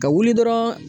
Ka wuli dɔrɔn